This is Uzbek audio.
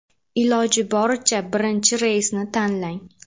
Iloji boricha birinchi reysni tanlang.